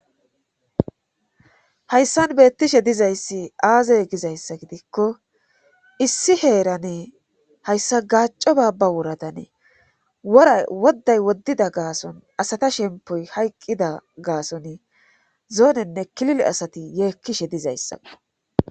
Hayssan beettishe dizayssi aazay gizayssa gidikko issi heeranee hayssa gaaco baabba woradanee wora wodday woddida gaason asata shempoy hayqqida gaason zoonenne kilile asati yeekkishe dizayssao.